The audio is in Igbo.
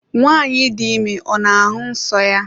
nwanyi di ime ọ n'ahụ nsọ ya?